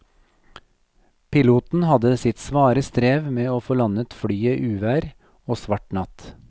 Piloten hadde sitt svare strev med å få landet flyet i uvær og svart natt.